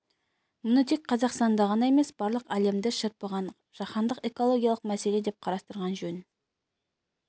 мұны тек қазақстанда ғана емес барлық әлемді шарпыған жаһандық экологиялық мәселе деп қарастырған жөн